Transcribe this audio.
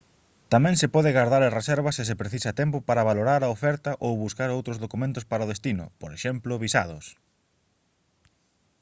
tamén se pode gardar a reserva se se precisa tempo para valorar a oferta ou buscar outros documentos para o destino por exemplo visados